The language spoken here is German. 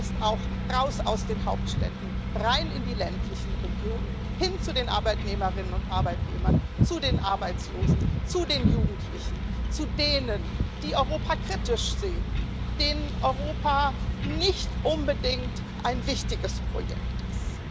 Das heißt auch heraus aus den Hauptstädten, hinein in die ländlichen Regionen, hin zu den Arbeitnehmerinnen und Arbeitnehmern, zu den Arbeitslosen, zu den Jugendlichen, zu denen, die Europa kritisch sehen, denen Europa nicht unbedingt ein wichtiges Projekt ist.